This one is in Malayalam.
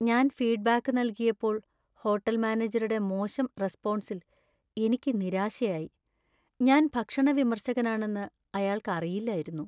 ഞാൻ ഫീഡ്‌ബാക്ക് നൽകിയപ്പോൾ ഹോട്ടല്‍ മാനേജരുടെ മോശം റെസ്‌പൊൺസിൽ എനിക്ക് നിരാശയായി. ഞാൻ ഭക്ഷണ വിമർശകനാണെന്ന് അയാൾക്ക് അറിയില്ലായിരുന്നു .